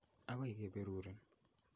Akoi ke perurin.